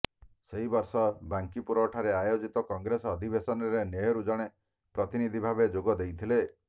ସେହି ବର୍ଷ ବାଙ୍କିପୁର ଠାରେ ଆୟୋଜିତ କଂଗ୍ରେସ ଅଧିବେଶନରେ ନେହରୁ ଜଣେ ପ୍ରତିନିଧି ଭାବେ ଯୋଗ ଦେଇଥିଲେ